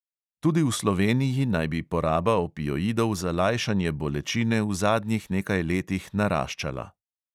Tudi v sloveniji naj bi poraba opioidov za lajšanje bolečine v zadnjih nekaj letih naraščala.